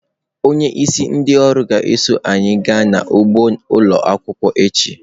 Onyeisi ndị ọrụ ga-eso anyị gaa n'ugbo ụlọ akwụkwọ echi.